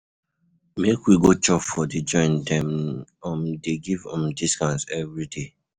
Make we go chop for di joint, dem um dey give um discount everyday.